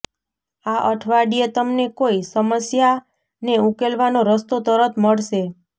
આ અઠવાડિયે તમને કોઈ સમસ્યાને ઉકેલવાનો રસ્તો તરત મળશે